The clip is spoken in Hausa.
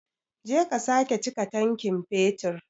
Je ka sake chika tankin fetur.